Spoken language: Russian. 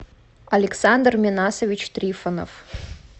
александр минасович трифонов